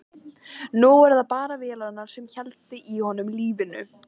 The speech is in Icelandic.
Nú voru það bara vélarnar sem héldu í honum lífinu.